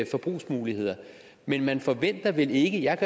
forbrugsmuligheder men man forventer vel ikke jeg